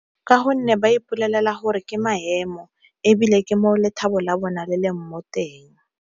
Ka gonne ba ipolaela gore ke maemo, ebile ke mo lethabo la bona le leng moteng.